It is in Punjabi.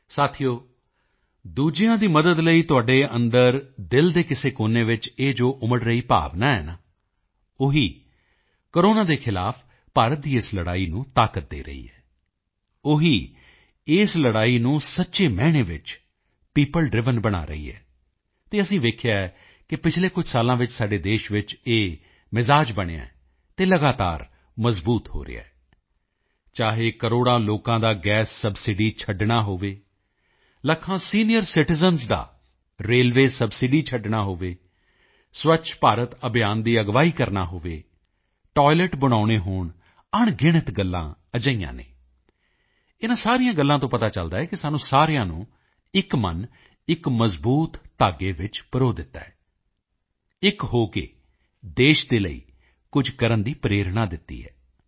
ਸਾਥੀਓ ਦੂਜਿਆਂ ਦੀ ਮਦਦ ਲਈ ਤੁਹਾਡੇ ਅੰਦਰ ਦਿਲ ਦੇ ਕਿਸੇ ਕੋਨੇ ਵਿੱਚ ਜੋ ਇਹ ਉਮੜ ਰਹੀ ਭਾਵਨਾ ਹੈ ਨਾ ਉਹੀ ਉਹੀ ਕੋਰੋਨਾ ਦੇ ਖ਼ਿਲਾਫ਼ ਭਾਰਤ ਦੀ ਇਸ ਲੜਾਈ ਨੂੰ ਤਾਕਤ ਦੇ ਰਹੀ ਹੈ ਉਹੀ ਇਸ ਲੜਾਈ ਨੂੰ ਸੱਚੇ ਮਾਇਨੇ ਵਿੱਚ ਪੀਓਪਲ ਡ੍ਰਾਈਵਨ ਬਣਾ ਰਹੀ ਹੈ ਅਤੇ ਅਸੀਂ ਦੇਖਿਆ ਹੈ ਪਿਛਲੇ ਕੁਝ ਵਰ੍ਹਿਆਂ ਵਿੱਚ ਸਾਡੇ ਦੇਸ਼ ਵਿੱਚ ਇਹ ਮਿਜ਼ਾਜ ਬਣਿਆ ਹੈ ਅਤੇ ਲਗਾਤਾਰ ਮਜ਼ਬੂਤ ਹੋ ਰਿਹਾ ਹੈ ਚਾਹੇ ਕਰੋੜਾਂ ਲੋਕਾਂ ਦਾ ਗੈਸ ਸਬਸਿਡੀ ਛੱਡਣਾ ਹੋਵੇ ਲੱਖਾਂ ਸੀਨੀਅਰ ਸਿਟੀਜ਼ਨ ਦਾ ਰੇਲਵੇਅ ਸਬਸਿਡੀ ਛੱਡਣਾ ਹੋਵੇ ਸਵੱਛ ਭਾਰਤ ਅਭਿਆਨ ਦੀ ਅਗਵਾਈ ਕਰਨੀ ਹੋਵੇ ਟਾਇਲਟ ਬਣਾਉਣੇ ਹੋਣ ਅਣਗਿਣਤ ਗੱਲਾਂ ਅਜਿਹੀਆਂ ਹਨ ਇਨ੍ਹਾਂ ਸਾਰੀਆਂ ਗੱਲਾਂ ਤੋਂ ਪਤਾ ਚੱਲਦਾ ਹੈ ਕਿ ਸਾਨੂੰ ਸਾਰਿਆਂ ਨੂੰ ਇੱਕ ਮਨ ਇੱਕ ਮਜ਼ਬੂਤ ਧਾਗੇ ਵਿੱਚ ਪਰੋ ਦਿੱਤਾ ਹੈ ਇੱਕ ਹੋ ਕੇ ਦੇਸ਼ ਦੇ ਲਈ ਕੁਝ ਕਰਨ ਦੀ ਪ੍ਰੇਰਣਾ ਦਿੱਤੀ ਹੈ